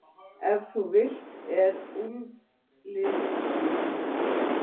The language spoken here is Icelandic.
Ef til vill er úlfliður ein þeirra.